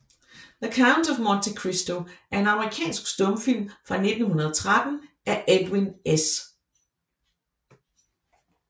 The Count of Monte Cristo er en amerikansk stumfilm fra 1913 af Edwin S